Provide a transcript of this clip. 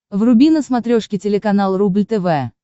вруби на смотрешке телеканал рубль тв